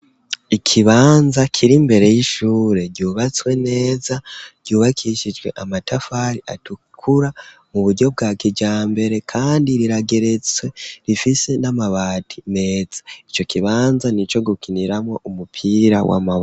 Ikibanza kiri mbere y'ishure ryubatswe neza ryubakishijwe amatafari atukura mu buryo bwa kijambere kandi rirageretse rifise n'amabati meza ico kibanza nico gukiniramo umupira w'amaboko.